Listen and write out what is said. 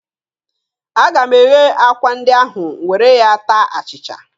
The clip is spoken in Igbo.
Aga m eghe akwa ndị ahụ were ya taa achịcha.